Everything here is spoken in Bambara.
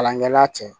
Kalankɛla cɛ